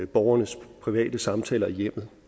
borgernes private samtaler i hjemmet